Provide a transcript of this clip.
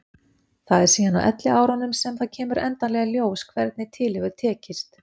Það er síðan á elliárunum sem það kemur endanlega í ljós hvernig til hefur tekist.